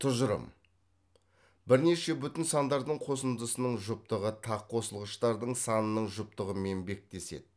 тұжырым бірнеше бүтін сандардың қосындысының жұптығы тақ қосылғыштардың санының жұптығымен беттеседі